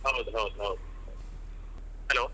ಹೌದು ಹೌದು ಹೌದು hello .